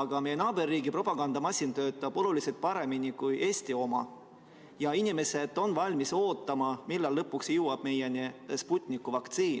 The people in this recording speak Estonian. aga meie naaberriigi propagandamasin töötab oluliselt paremini kui Eesti oma ja inimesed on valmis ootama, millal lõpuks jõuab meieni Sputniku vaktsiin.